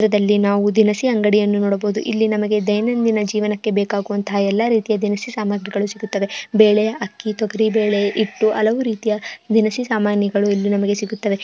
ಈ ಚಿತ್ರದಲ್ಲಿ ನಾವು ಒಂದು ದಿನ ಸೆ ಅಂಗಡಿಯನ್ನು ನೋಡಬಹುದು ಇಲ್ಲಿ ನಮಗೆ ದೈನಂದಿನ ಜೀವನಕ್ಕೆ ಬೇಕಾಗಿರುವಂತಹ ಎಲ್ಲಾ ರೀತಿಯ ದಿನಸಿ ಸಾಮಗ್ರಿಗಳು ಸಿಗುತ್ತವೆ ಬೇಳೆ ಅಕ್ಕಿ ತೊಗರಿ ಬೇಳೆ ಇಟ್ಟು ಹಲವು ರೀತಿಯ ದಿನಸಿ ಸಾಮಾನುಗಳು ಇಲ್ಲಿ ನಮಗೆ ಸಿಗುತ್ತವೆ.